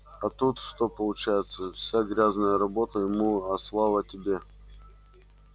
а тут что получается вся грязная работа ему а слава тебе